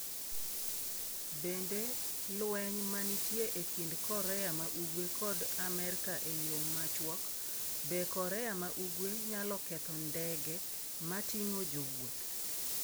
Bende lweny ma nitie e kind Korea ma Ugwe kod Amerka e yo machuok, be Korea ma Ugwe nyalo ketho ndege ma ting’o jowuoth?